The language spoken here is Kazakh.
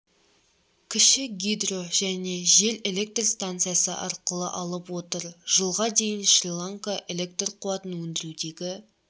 кіші гидро және жел электр станциясы арқылы алып отыр жылға дейін шри-ланка электр қуатын өндірудегі